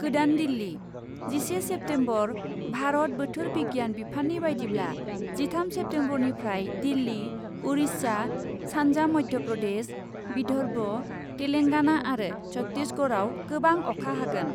गोदान दिल्ली , जिसे सेप्तेम्बर, भारत बोथोर बिगियान बिफाननि बायदिब्ला , जिथाम सेप्तेम्बरनिफ्राय दिल्ली , उरिष्या , सान्जा मध्य प्रदेश , विदर्भ , तेलेंगाना आरो छतीसगढ़याव गोबां अखा हागोन ।